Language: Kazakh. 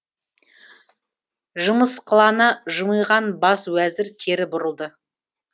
жымысқылана жымиған бас уәзір кері бұрылды